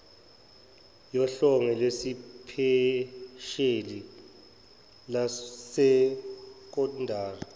yohlengo lwesiphesheli lwesekondari